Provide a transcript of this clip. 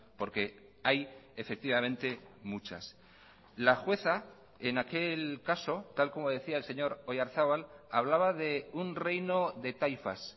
porque hay efectivamente muchas la jueza en aquel caso tal como decía el señor oyarzabal hablaba de un reino de taifas